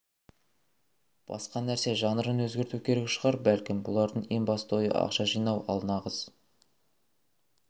басқа нәрсе жанрын өзгерту керек шығар бәлкім бұлардың ең басты ойы ақша жинау ал нағыз